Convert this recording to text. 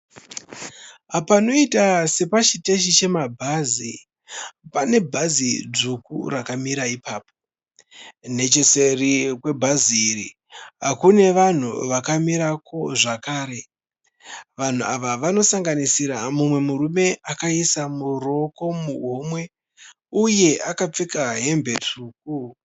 Panoita sepachiteshi pemabhazi pane bhazi dzvuku rakamira ipapo. Necheseri kwebhazi iri kune vanhu vakamirapo zvakare. Vanhu ava vanosanganisira mumwe murume akaisa ruoko muhomwe uye akapfeka hembe tsvuku.